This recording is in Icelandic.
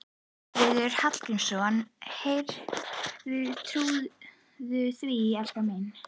Hreggviður Hallgrímsson: Heyrðu, trúirðu því, elskan mín?